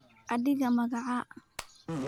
Adhiga magaca?